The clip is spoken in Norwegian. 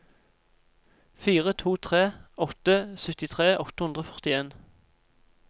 fire to tre åtte syttitre åtte hundre og førtien